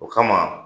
O kama